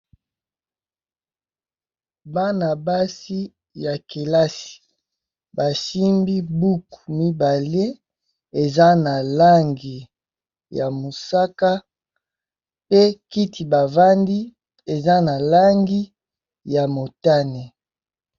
Bana basi ya kelasi ba simbi buku mibale, eza na langi ya mosaka pe kiti ba vandi eza na langi ya motane..